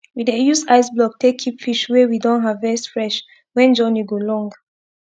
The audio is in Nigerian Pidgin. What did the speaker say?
we dey use ice block take keep fish wey we don haervest fresh when journey go long